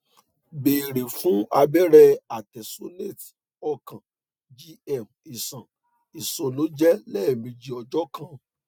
beere fun abẹrẹ artesunate ọkan gm iṣan iṣọnẹjẹ lẹmeji ọjọ kan